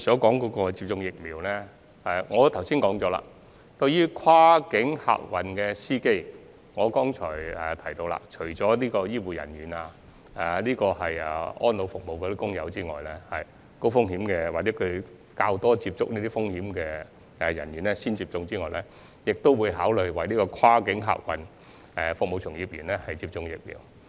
關於疫苗接種安排，正如我剛才指出，除了為醫護人員、安老院舍員工等高風險或較多接觸高風險者的人員優先接種外，政府亦會考慮為跨境客運服務從業員接種疫苗。